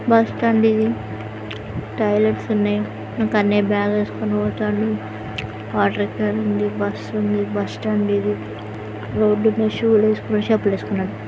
Bus stand ఇది. Toilets ఉన్నాయి. ఒక అన్నయ్య డ్రాయరు వేసుకొని పోతున్నాడు. వాటర్ క్యాన్ ఉంది. బస్సు ఉంది. బస్సు స్టాండ్ ఇది. రోడ్ మీద షూ వేసుకున్నాడు చెప్పులు వేసుకున్నాడు.